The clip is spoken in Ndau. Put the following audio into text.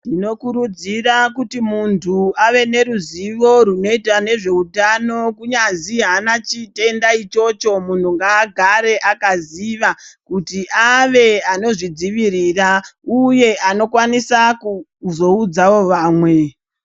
Tinokurudzira kuti muntu ,ave neruzivo runoita nezveutano, kunyazi haana chitenda ichocho. Munhu ngaagare akaziva kuti ave anozvidzivirira, uye anokwanisa kukuzoudzawo vamwe.